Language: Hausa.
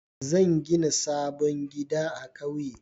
Zan gina sabon gida a ƙauye.